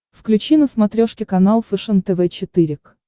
включи на смотрешке канал фэшен тв четыре к